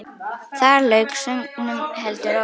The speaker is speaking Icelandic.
Þar lauk sögnum, heldur óvænt.